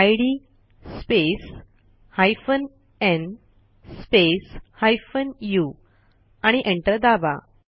इद space hyphen न् space hyphen उ आणि एंटर दाबा